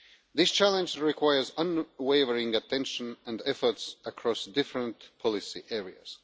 This challenge requires unwavering attention and efforts across different policy areas.